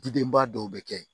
Dudenba dɔw bɛ kɛ yen